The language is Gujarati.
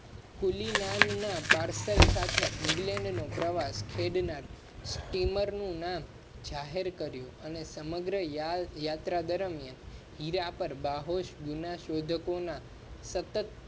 કુલી ન ના પાર્સલ સાથે england નો પ્રવાસ ખેડ નાર સ્ટીમર નું નામ જાહેર કર્યું અને સમગ્ર યાત્રા દરમિયાન હીરા પર બાહોશ બીના શોધકો ના સતત